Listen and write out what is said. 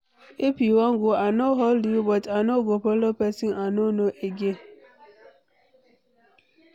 If you wan go I no hold you but I no go follow person I no know again.